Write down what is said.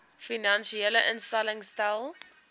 finansiële instellings stel